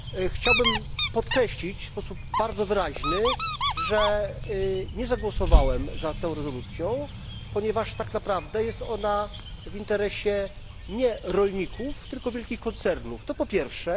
Chciałbym podkreślić w sposób bardzo wyraźny, że nie zagłosowałem za tą rezolucją, ponieważ tak naprawdę nie jest ona w interesie rolników, tylko wielkich koncernów to po pierwsze.